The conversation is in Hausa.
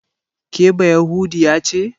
Ke bayahudiya ce?